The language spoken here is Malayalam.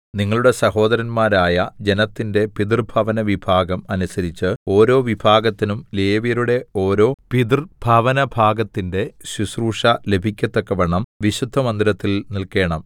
നിങ്ങളുടെ സഹോദരന്മാരായ ജനത്തിന്റെ പിതൃഭവനവിഭാഗം അനുസരിച്ച് ഓരോ വിഭാഗത്തിനും ലേവ്യരുടെ ഓരോ പിതൃഭവനഭാഗത്തിന്റെ ശുശ്രൂഷ ലഭിക്കത്തക്കവണ്ണം വിശുദ്ധമന്ദിരത്തിൽ നിൽക്കേണം